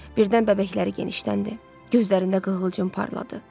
Birdən bəbəkləri genişləndi, gözlərində qığılcım parladı.